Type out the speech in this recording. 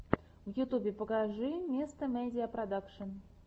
в ютубе покажи мистэ медиа продакшен